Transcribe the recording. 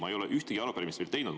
Ma ei ole ühtegi arupärimist veel teinud.